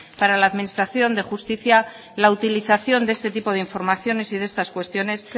para la administración de justicia la utilización de este tipo de informaciones y de estas cuestiones